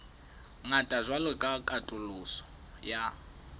ngata jwalo ka katoloso ya